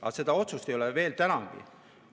Aga seda otsust ei ole veel tänagi.